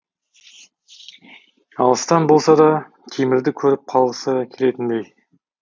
алыстан болса да темірді көріп қалғысы келетіндей